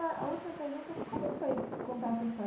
E a última pergunta, como foi contar a sua história?